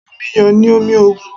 Omi iyọ̀ ni omi òun